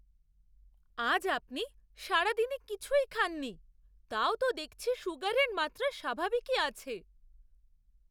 আজ আপনি সারাদিনে কিছুই খাননি তাও তো দেখছি সুগারের মাত্রা স্বাভাবিকই আছে!